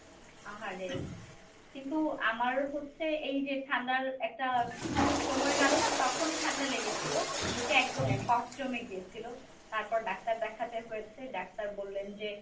আহারে! কিন্তু আমার হচ্ছে এইযে ঠান্ডার একটা সময় গেল না তখন ঠান্ডা লেগেছিল বুকে একদমই জমে গিয়েছিল তারপর doctor দেখাতে হয়েছে doctor বললেন যে